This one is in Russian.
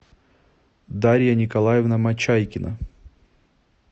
дарья николаевна мочайкина